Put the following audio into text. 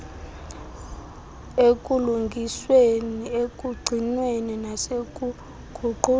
ekulungisweni ekugcinweni nasekuguqulweni